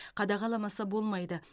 қадағаламаса болмайды